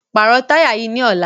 Pàrọ̀ táyà yìí ní ọ̀la!